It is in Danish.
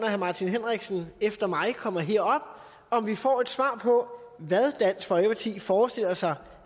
herre martin henriksen efter mig kommer herop om vi får et svar på hvad dansk folkeparti forestiller sig